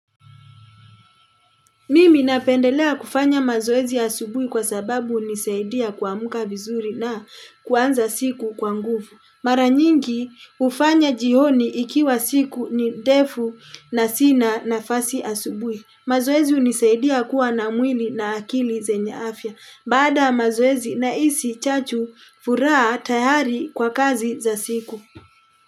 Mimi napendelea kufanya mazoezi asubui kwa sababu unisaidia kuamka vizuri na kuanza siku kwa nguvu. Maranyingi ufanya jihoni ikiwa siku ni defu na sina na fasi asubui. Mazoezi unisaidia kuwa na mwili na akili zenye afya. Baada ya mazoezi na isi chachu furaa tayari kwa kazi za siku.